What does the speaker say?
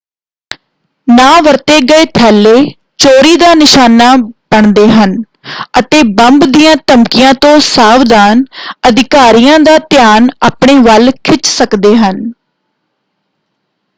ਨਾ ਵਰਤੇ ਗਏ ਥੈਲੇ ਚੋਰੀ ਦਾ ਨਿਸ਼ਾਨਾ ਬਣਦੇ ਹਨ ਅਤੇ ਬੰਬ ਦੀਆਂ ਧਮਕੀਆਂ ਤੋਂ ਸਾਵਧਾਨ ਅਧਿਕਾਰੀਆਂ ਦਾ ਧਿਆਨ ਆਪਣੇ ਵੱਲ ਖਿੱਚ ਸਕਦੇ ਹਨ।